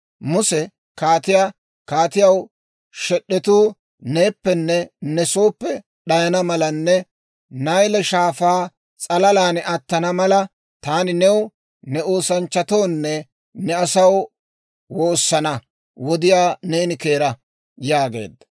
Muse kaatiyaa, «Kaatiyaw shed'etuu neeppenne ne sooppe d'ayana malanne Nayle Shaafaa s'alalan attana mala, taani new, ne oosanchchatoonne ne asaw woosana wodiyaa neeni keera» yaageedda.